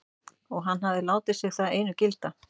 Og hann hefði látið sig það einu gilda.